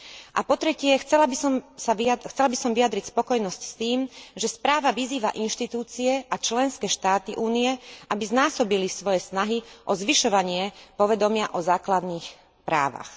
A po tretie, chcela by som vyjadriť spokojnosť s tým, že správa vyzýva inštitúcie a členské štáty Únie, aby znásobili svoje snahy o zvyšovanie povedomia o základných právach.